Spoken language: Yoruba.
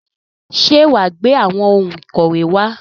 Ṣé wà á gbé àwọn ohun ìkọ̀wé wá?